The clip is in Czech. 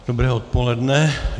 Dobré odpoledne.